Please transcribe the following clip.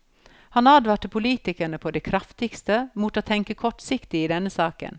Han advarte politikerne på det kraftigste mot å tenke kortsiktig i denne saken.